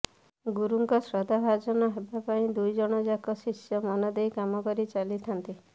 ଗୁରୁଙ୍କ ଶ୍ରଦ୍ଧାଭାଜନ ହେବା ପାଇଁ ଦୁଇଜଣଯାକ ଶିଷ୍ୟ ମନଦେଇ କାମ କରିଚାଲିଥାନ୍ତି